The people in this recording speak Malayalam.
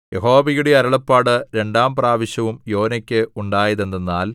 യഹോവയുടെ അരുളപ്പാട് രണ്ടാം പ്രാവശ്യം യോനായ്ക്ക് ഉണ്ടായത് എന്തെന്നാൽ